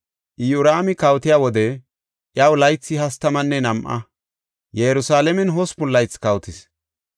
Iyoraami kawotiya wode iyaw laythi hastamanne nam7a; Yerusalaamen hospun laythi kawotis.